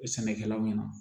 Sɛnɛkɛlaw ɲɛna